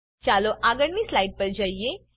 ચાલો આગળની સ્લાઈડ પર જઈએ